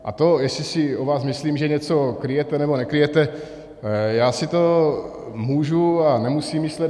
A to, jestli si o vás myslím, že něco kryjete, nebo nekryjete, já si to můžu a nemusím myslet.